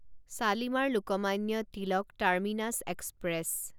Shalimar Lokmanya Tilak terminus express